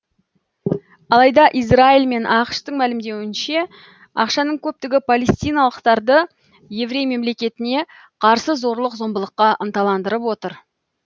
алайда израиль мен ақш тың мәлімдеуінше ақшаның көптігі палестиналықтарды еврей мемлекетіне қарсы зорлық зомбылыққа ынталандырып отыр